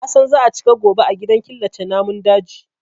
Na san za a cika gobe a gidan killace namun daji.